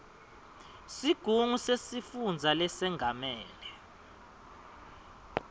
sigungu sesifundza lesengamele